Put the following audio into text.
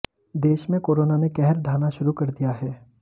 देश में कोरोना ने कहर ढ़ाहना शुरू कर दिया है